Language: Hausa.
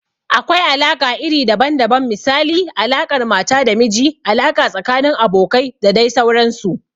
Akwai alaƙa iri daban daban misali, alaƙar mata da miji, alaƙa tsakanin abokai da dai sauransu.